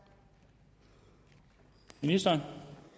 ministeren